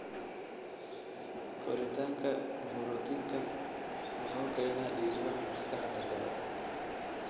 Koritaanka borotiinkan wuxuu keenaa dhiigbax maskaxda gala.